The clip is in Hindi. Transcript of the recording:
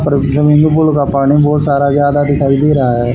और स्विमिंग पूल का पानी बहोत सारा ज्यादा दिखाई दे रहा हैं।